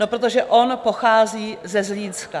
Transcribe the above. No, protože on pochází ze Zlínska.